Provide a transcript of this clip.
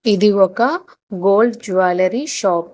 ఇది ఒక gold jewellery shop .